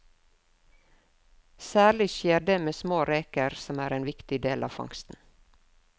Særlig skjer det med små reker, som er en viktig del av fangsten.